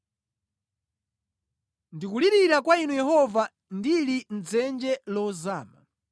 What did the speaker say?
Ndikulirira kwa Inu Yehova ndili mʼdzenje lozama;